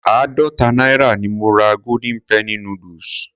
Àádọta náírà ni mo ra golden penny noodles.